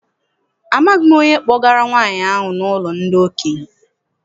Amaghị m onye kpọgara nwaanyị ahụ n'ụlọ ndị okenye.